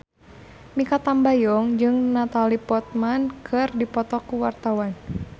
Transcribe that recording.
Mikha Tambayong jeung Natalie Portman keur dipoto ku wartawan